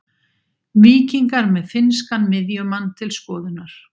Víkingar með finnskan miðjumann til skoðunar